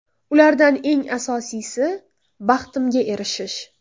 Ulardan eng asosiysi – baxtimga erishish.